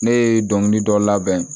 Ne ye dɔnkilida